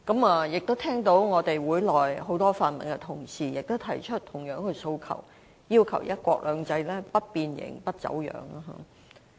我聽到本會內很多泛民同事也提出同樣的訴求，要求"一國兩制"的實踐不變形、不走樣。